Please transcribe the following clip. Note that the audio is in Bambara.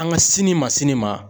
An ka sini ma sini ma